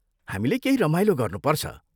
हामीले केही रमाइलो गर्नुपर्छ।